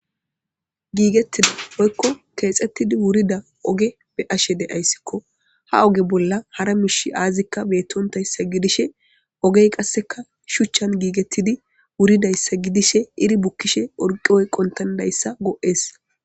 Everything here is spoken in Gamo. giigettida hoykko keexxettidi wurida oge be ashe de7ayssikko ha oge bolla hara mish aazikka beettontayssa gidishe ogey qasseka shuchchan giigettidi wuridayssa gidishe iri bukkishe orqi oyqqontandayssa go7ees